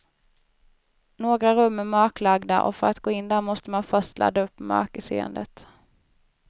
Några rum är mörklagda och för att gå in där måste man först ladda upp mörkerseendet.